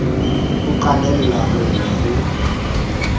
o qalella ho lla ho